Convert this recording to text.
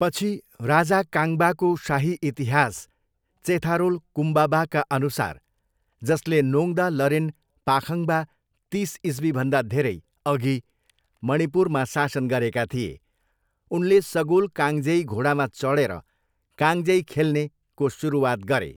पछि, राजा काङबाको शाही इतिहास चेथारोल कुम्बाबाका अनुसार, जसले नोङ्दा लेरेन पाखाङ्बा, तिस ईस्वीभन्दा धेरै अघि मणिपुरमा शासन गरेका थिए, उनले सगोल काङजेई, घोडामा चडेर काङजेई खेल्ने, को सुरुवात गरे।